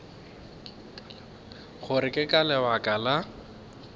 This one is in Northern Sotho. gore ke ka lebaka la